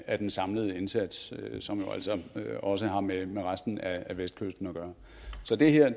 af den samlede indsats som jo altså også har med med resten af vestkysten at gøre så det her